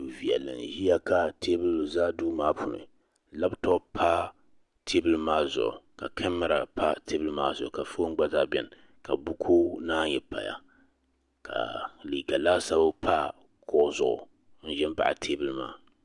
du viɛlli n ʒiya ka teebuli bɛ duu maa puuni labtop pa teebuli maa zuɣu ka lamɛra pa teebuli maa zuɣu ka foon gba zaa biɛni ka buku naan yi paya ka liiga laasabu pa kuɣu zuɣu n ʒi n baɣa teebuli maa